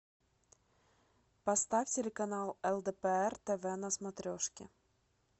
поставь телеканал лдпр тв на смотрешке